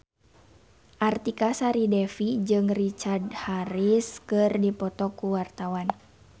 Artika Sari Devi jeung Richard Harris keur dipoto ku wartawan